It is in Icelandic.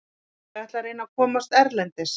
Ég ætla að reyna að komast erlendis.